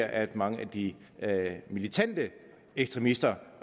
at mange af de militante ekstremister